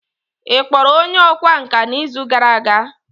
ị kpọrọ onye ọkwá nkà n'izu gara aga?